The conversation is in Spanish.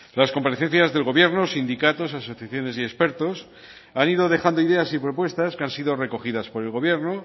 las comparecencias del gobierno sindicatos asociaciones y expertos han ido dejando ideas y propuestas que han sido recogidas por el gobierno